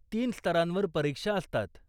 तीन स्तरांवर परीक्षा असतात.